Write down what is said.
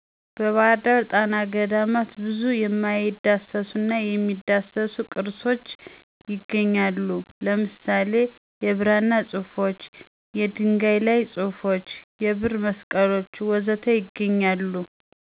ባህር ዳር ጣና ገዳማት ባህርዳር ጣና ገዳማት ብዙ የሚዳሰሱና የማይዳሰሱ ቅርሶች ይገኛሉ። ለምሳሌ:- የብራና ፅሑፎች፣ የድንጋይ ላይ ፁሑፎች፣ የብር መስቀሎች ወዘተ ይገኛሉ